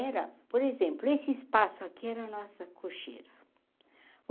Era, por exemplo, esse espaço aqui era a nossa cocheira.